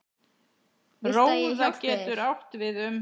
Róða getur átt við um